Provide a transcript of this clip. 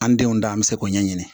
An denw dan an be se k'o ɲɛɲini